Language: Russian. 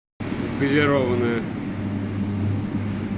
газированная